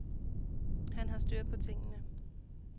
Han har styr på tingene.